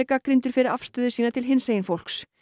gagnrýndur fyrir afstöðu sína til hinsegin fólks